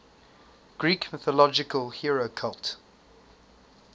greek mythological hero cult